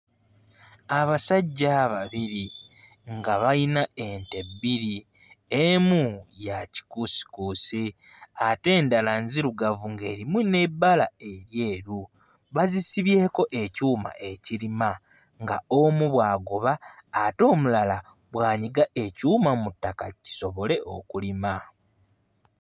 Abasajja babiri nga bayina ente bbiri emu ya kikuusikuusi ate endala nzirugavu ng'erimu n'ebbala eryeru bazisibyeko ekyuma ekirima nga omu bw'agoba ate omulala bw'anyiga ekyuma mu ttaka kisobole okulima.